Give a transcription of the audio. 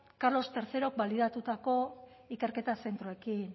carlos hirugarren balidatutako ikerketa zentroekin